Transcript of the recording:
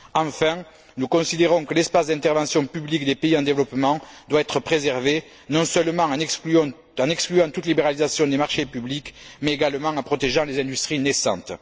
Enfin, nous considérons que l'espace d'intervention publique des pays en développement doit être préservé, non seulement en excluant toute libéralisation des marchés publics, mais également en protégeant les industries naissantes.